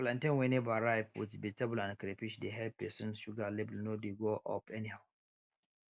plantain wey never ripe with vegetable and crayfish dey help person sugar level no dey go up anyhow